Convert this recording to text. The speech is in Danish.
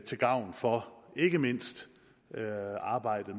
til gavn for ikke mindst arbejdet